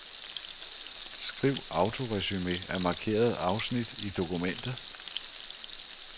Skriv autoresumé af markerede afsnit i dokumentet.